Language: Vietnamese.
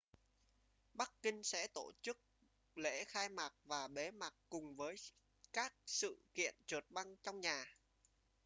bắc kinh sẽ tổ chức lễ khai mạc và bế mạc cùng với các sự kiện trượt băng trong nhà